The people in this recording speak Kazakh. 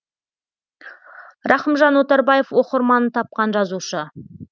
рахымжан отарбаев оқырманын тапқан жазушы